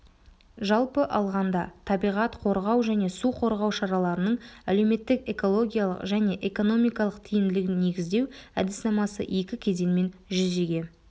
жалпы алғанда табиғат қорғау және су қорғау шаралараның әлеуметтік экологиялық және экономикалық тиімділігін негіздеу әдіснамасы екі кезеңмен жүзеге